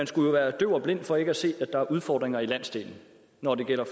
skulle være døv og blind for ikke at se at der er udfordringer i landsdelen når det gælder